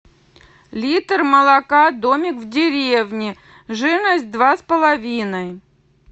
литр молока домик в деревне жирность два с половиной